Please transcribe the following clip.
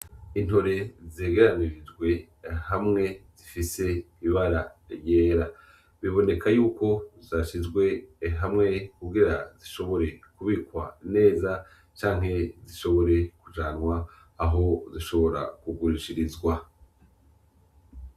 Intore zegeranirijwe hamwe zifise ibara ryera, biboneka y’uko zashizwe hamwe kugira zishobore kubikwa neza canke zishobore kujanwa aho zishobora kugurishirizwa.